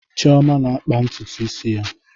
Chioma na-akpa ntutu isi ya.